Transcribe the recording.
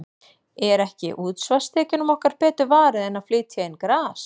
Er ekki útsvarstekjunum okkar betur varið en að flytja inn gras?